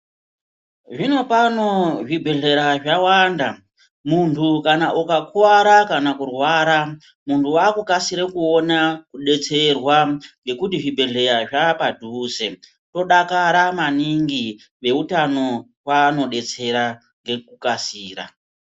Zvinopano zvibhehlera zvawanda muntu kana ukakuwara kana kurwara muntu wakukasira kuona kudetserwa nekuti zvibhehlera zvapadhuze tinodakara maningi veutano vanodetsera nekukasira.